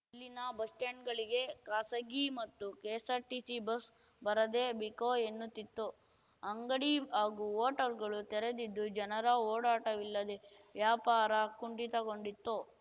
ಇಲ್ಲಿನ ಬಸ್‌ ಸ್ಟಾಂಡ್‌ಗಳಿಗೆ ಖಾಸಗಿ ಮತ್ತು ಕೆಎಸ್‌ಆರ್‌ಟಿಸಿ ಬಸ್ ಬರದೆ ಬಿಕೋ ಎನ್ನುತ್ತಿತ್ತು ಅಂಗಡಿ ಹಾಗೂ ಹೋಟೆಲ್‌ಗಳು ತೆರೆದಿದ್ದು ಜನರ ಓಡಾಟವಿಲ್ಲದೇ ವ್ಯಾಪಾರ ಕುಂಠಿತಗೊಂಡಿತ್ತು